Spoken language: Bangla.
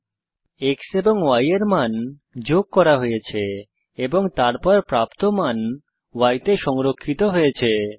x এবং y এর মান যোগ করা হয়েছে এবং তারপর প্রাপ্ত মান y তে সংরক্ষিত হয়েছে